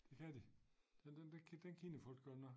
Det kan de den den den kender folk godt nok